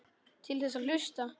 Til þess að hlusta.